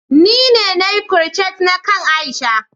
ni ne na Yi "crochet na kain Aisha.